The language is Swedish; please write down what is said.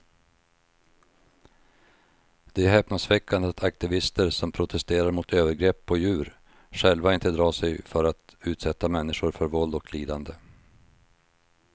Det är häpnadsväckande att aktivister som protesterar mot övergrepp på djur själva inte drar sig för att utsätta människor för våld och lidande.